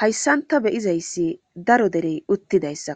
Hayssan ta be7izayssi daro derey uttidayssa